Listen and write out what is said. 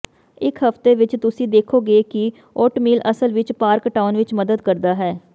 ਇੱਕ ਹਫ਼ਤੇ ਵਿੱਚ ਤੁਸੀਂ ਦੇਖੋਂਗੇ ਕਿ ਓਟਮੀਲ ਅਸਲ ਵਿੱਚ ਭਾਰ ਘਟਾਉਣ ਵਿੱਚ ਮਦਦ ਕਰਦਾ ਹੈ